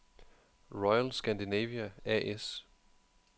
Royal Scandinavia A/S